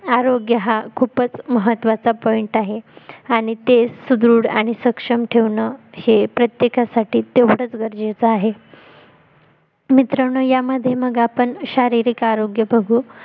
आरोग्य हा खूपच महत्वाचा POINT आहे आणि ते सुदृढ आणि सक्षम ठेवणं हे प्रत्येकासाठी तेवढच गरजेच आहे मित्रांनो यामध्ये मग आपण शारीरिक आरोग्य बघू